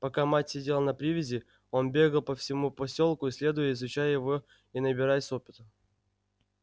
пока мать сидела на привязи он бегал по всему посёлку исследуя изучая его и набираясь опыта